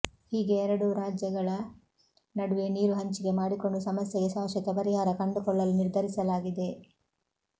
ಹೀಗೆ ಎರಡೂ ರಾಜ್ಯಗಳ ನಡುವೆ ನೀರು ಹಂಚಿಕೆ ಮಾಡಿಕೊಂಡು ಸಮಸ್ಯೆಗೆ ಶಾಶ್ವತ ಪರಿಹಾರ ಕಂಡುಕೊಳ್ಳಲು ನಿರ್ಧರಿಸಲಾಗಿದೆ